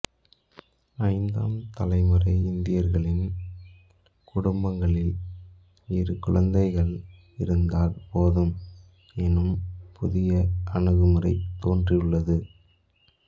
ஐந்தாம் தலைமுறை இந்தியர்களின் குடும்பங்களில் இரு குழந்தைகள் இருந்தால் போதும் எனும் புதிய அணுகுமுறை தோன்றி உள்ளது